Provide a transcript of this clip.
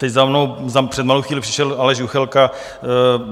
Teď za mnou před malou chvíli přišel Aleš Juchelka.